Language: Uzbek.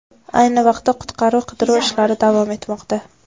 Ayni vaqtda qutqaruv-qidiruv ishlari davom etmoqda.